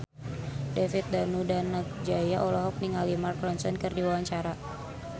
David Danu Danangjaya olohok ningali Mark Ronson keur diwawancara